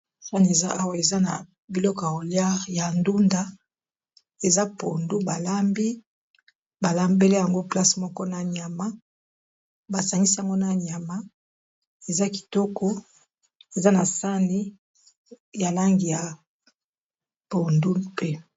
Sani eza awa eza na biloko ya kolia y ndunda eza pondu ba lambi ba lambeli yango place moko na nyama, ba sangisi yango na nyama eza kitoko, eza na sani ya langi ya pondu pe.